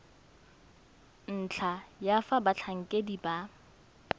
ntlha ya fa batlhankedi ba